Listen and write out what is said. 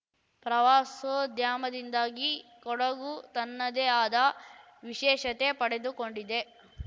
ಪ್ರವಾಸೋದ್ಯಮದಿಂದಾಗಿ ಕೊಡಗು ತನ್ನದೇ ಆದ ವಿಶೇಷತೆ ಪಡೆದುಕೊಂಡಿದೆ